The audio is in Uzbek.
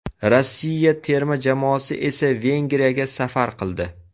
Rossiya terma jamoasi esa Vengriyaga safar qildi.